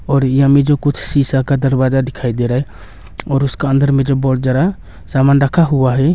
और ये हमे जो कुछ शीशा का दरवाज़ा दिखाई दे रहा है और उसका अंदर मे जो ज्यादा समान रखा हुआ है।